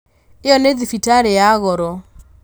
ĩno nĩ thibitarĩ ya goro